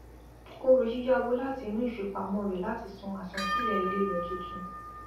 ó ro yíyá owó láti inú ìfipamọ rẹ láti san àsansílẹ ilé rẹ tuntun